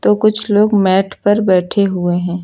कुछ लोग मैट पर बैठे हुए हैं।